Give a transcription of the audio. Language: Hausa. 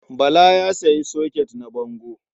Bala ya sayi soket na bango.